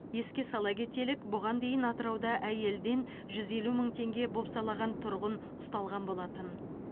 еске сала кетелік бұған дейін атырауда әйелден жүз елу мың теңге бопсалаған тұрғын ұсталған болатын